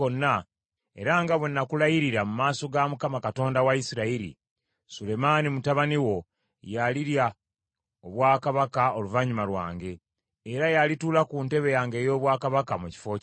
era nga bwe nakulayirira mu maaso ga Mukama , Katonda wa Isirayiri, Sulemaani mutabani wo y’alirya obwakabaka oluvannyuma lwange, era y’alituula ku ntebe yange ey’obwakabaka mu kifo kyange.”